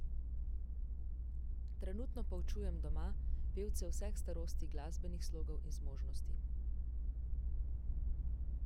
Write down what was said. Trenutno poučujem doma, pevce vseh starosti, glasbenih slogov in zmožnosti.